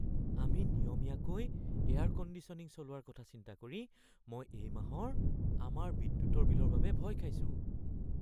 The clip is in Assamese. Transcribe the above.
আমি নিয়মীয়াকৈ এয়াৰ-কণ্ডিশ্যনিং চলোৱাৰ কথা চিন্তা কৰি মই এই মাহৰ আমাৰ বিদ্যুতৰ বিলৰ বাবে ভয় খাইছো।